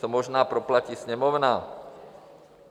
To možná proplatí Sněmovna.